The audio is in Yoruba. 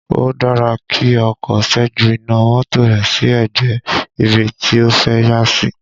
Ó dára kí ọkọ ṣẹ́jú iná mọ́tò rẹ̀ sí ẹ̀gbẹ́ ibi tí ó fẹ́ yà sí